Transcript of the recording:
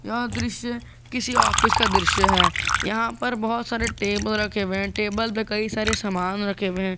यह दृश्य किसी ऑफिस का दृश्य है यहां पर बहुत सारे टेबल रखे हुए टेबल पर कई सारे सामान रखे हुए है।